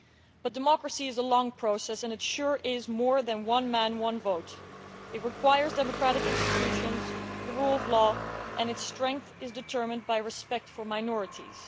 But democracy is a long process and it is certainly more than just one man, one vote'. It requires democratic institutions, the rule of law and its strength is determined by respect for minorities.